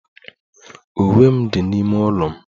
Uwe m dị n'ime ụlọ m.